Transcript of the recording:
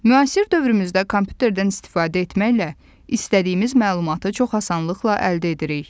Müasir dövrümüzdə kompüterdən istifadə etməklə istədiyimiz məlumatı çox asanlıqla əldə edirik.